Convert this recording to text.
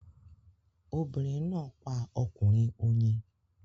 Obìnrin náà pa ọkùnrin oyin